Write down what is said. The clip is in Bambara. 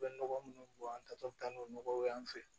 U bɛ nɔgɔ munnu bɔ an tatɔ bɛ taa n'o nɔgɔw y'an fɛ